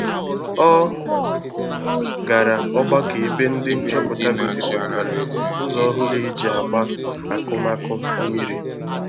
Ọ gara ọgbakọ ebe ndị nchọpụta gosipụtara ụzọ ọhụrụ eji agba akụmakụ mmiri